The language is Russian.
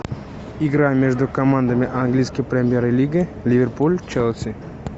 игра между командами английской премьер лиги ливерпуль челси